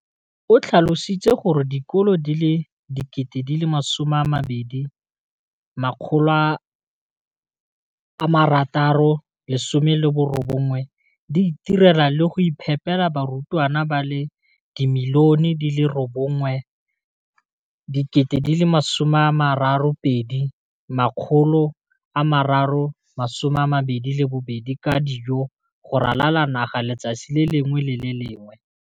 O tlhalositse gore dikolo di le 20 619 di itirela le go iphepela barutwana ba le 9 032 622 ka dijo go ralala naga letsatsi le lengwe le le lengwe.